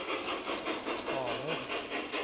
faner